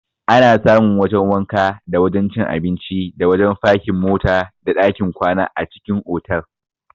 Ana samun wajan wanka, da wajan cin abinci, da wajan fakin mota, da ɗakin kwana a cikin otal.